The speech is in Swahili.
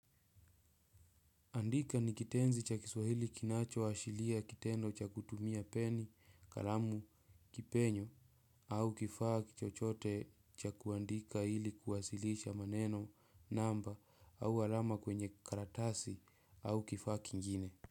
Andika kitenzi cha Kiswahili kinachoashiria kitendo cha kutumia peni, kalamu, kipenyo au kifaa chochote cha kuandika ili kuwasilisha maneno, namba au alama kwenye karatasi. Au kifaa kingine.